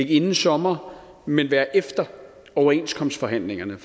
inden sommer men være efter overenskomstforhandlingerne